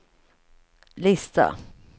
lista